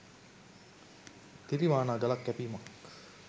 තිරිවානා ගලක් කැපීමක්